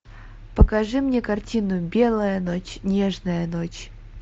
покажи мне картину белая ночь нежная ночь